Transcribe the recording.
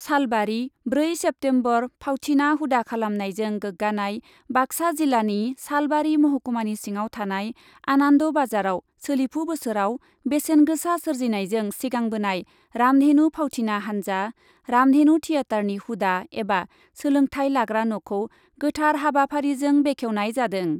सालबारि, ब्रै सेप्तेम्बर फावथिना हुदा खालामनायजों गोग्गानाय, बाक्सा जिल्लानि सालबारि महकुमानि सिङाव थानाय आनान्द बाजाराव सोलिफु बोसोराव बेसेन गोसा सोर्जिनायजों सिगांबोनाय रामधेनु फावथिना हान्जा रामधेनु थियेटारनि हुदा एबा सोलोंथाय लाग्रा न'खौ गोथार हाबाफारिजों बेखेवनाय जादों ।